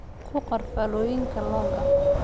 Ku qor faallooyinkaaga log-ka